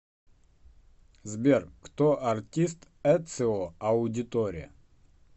сбер кто артист эцио аудиторе